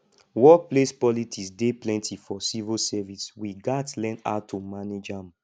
workplace politics dey plenty for civil service we gats learn how to manage am